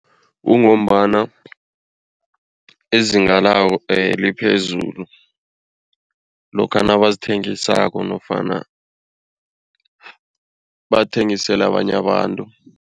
Kungombana izinga lawo liphezulu lokha nabazithengisako nofana bathengisela abanye abantu.